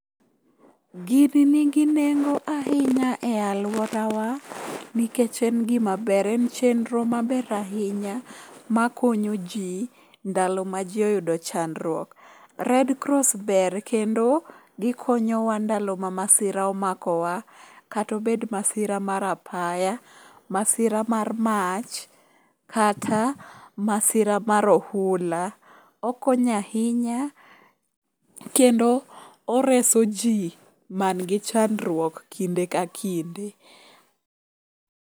Gini nigi nengo ahinya e alworawa nikech en gima ber en chenro maber ahinya makonyo ji ndalo ma ji oyudo chandruok. Red cross ber kendo gikonyowa ndalo ma masira omakowa kata obed masira mar apaya, masira mar mach kata masira mar ohula. Okonyo ahinya kendo oreso ji mangi chandruok kinde ka kinde.